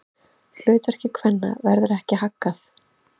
Hlutverki kvenna verður ekki haggað.